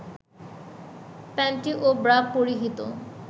panty ও bra পরিহিত